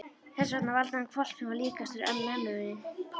Þess vegna valdi hann hvolp sem var líkastur mömmunni.